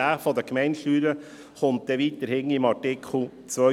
diejenige der Gemeindesteuer kommt dann weiter hinten, im Artikel 250.